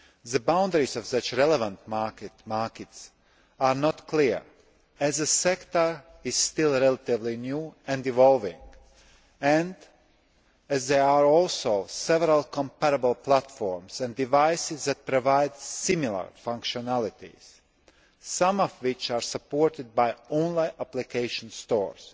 The boundaries of such relevant markets are not clear, as the sector is still relatively new and evolving and as there are also several comparable platforms and devices that provide similar functionalities, some of which are supported by online application stores